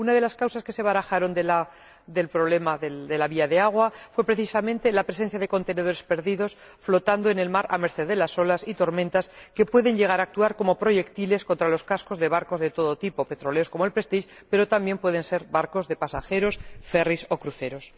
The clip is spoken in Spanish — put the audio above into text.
Una de las causas que se barajaron del problema de la vía de agua fue, precisamente, la presencia de contenedores perdidos flotando en el mar a merced de las olas y tormentas, que pueden llegar a actuar como proyectiles contra los cascos de barcos de todo tipo, petroleros como el Prestige, pero también pueden ser barcos de pasajeros, ferris o cruceros.